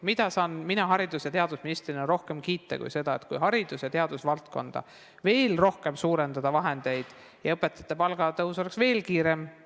Mida saan mina haridus- ja teadusministrina rohkem kiita kui seda, kui haridus- ja teadusvaldkonda antakse veel rohkem vahendeid ja õpetajate palga tõus on veel kiirem.